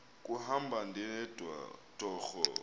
kuhamba ndedwa torho